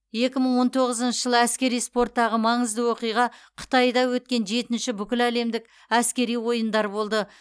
екі мың он тоғызыншы жылы әскери спорттағы маңызды оқиға қытайда өткен жетінші бүкіләлемдік әскери ойындар болды